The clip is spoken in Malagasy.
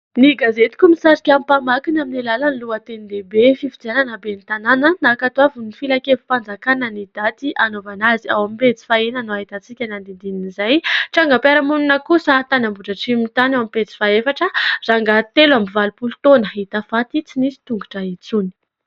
Ny gazetiko misarika ny mpamakiny amin'ny alalan'ny lohateny lehibe. Fifidianana ben'ny tanana, nankatoavin'ny filankevi-panjakana ny daty hanaovana azy ; ao amin'ny pejy fahaenina no ahitantsika ny andinindinin'izay. Trangam-piarahamonina kosa tany Ambohidratrimo tany ao amin'ny pejy fahaefatra, rangahy telo amby valopolo taona hita faty, tsy nisy tongotra intsony.